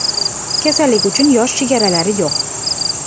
Kasallik uchun yosh chegalari yo‘q.